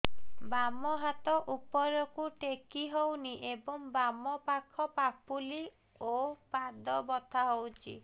ବାମ ହାତ ଉପରକୁ ଟେକି ହଉନି ଏବଂ ବାମ ପାଖ ପାପୁଲି ଓ ପାଦ ବଥା ହଉଚି